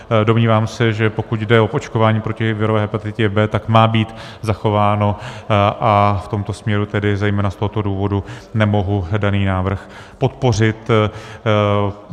Domnívám se, že pokud jde o očkování proti virové hepatitidě B, tak má být zachováno, a v tomto směru, tedy zejména z tohoto důvodu, nemohu daný návrh podpořit.